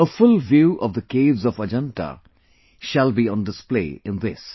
A full view of the caves of Ajanta shall be on display in this